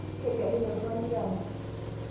kegelunyi oltungani taata